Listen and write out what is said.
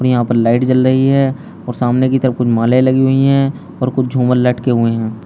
यहां पर लाइट जल रही है और सामने की तब कुछ मालाएं लगी हुई हैं और कुछ झूमर लटके हुए हैं।